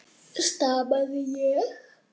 stamaði ég.